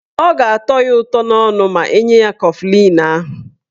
Ọ ga-atọ ya ụtọ n'ọnụ ma enye ya kọflịn ahụ.